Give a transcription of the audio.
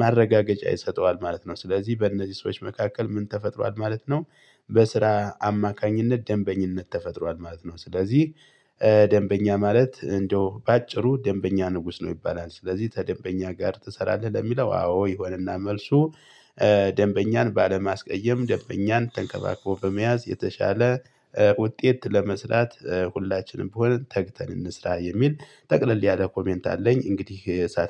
ማረጋገጫ ይሰጠዋል ማለት ነው። ስለዚህ በእነዚህ ሰዎች መካከል ምን ተፈጥሯል ማለት ነው። በስራ አማካኝነት ደንበኝነት ተፈጥሯል ማለት ነው። ስለዚህ ደንበኛ ማለት እንደው በአጭሩ ደንበኛ ንጉስ ነው። ይባላል ስለዚህ ተደንበኛ ጋር ትሰራለህ ለሚለው አዎ ይሆንና መልሱ? ባለማስቀየም ደንበኛን ተንከባክቦ በመያዝ የተሻለ ውጤት ለመስራት ሁላችንም ብሆን ተግተን እንስራ የሚል ጠቅለል ያለ ኮሜንት አለኝ እንግዲህ።